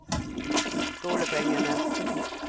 skolepengene